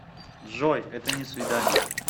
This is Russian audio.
джой это не свидание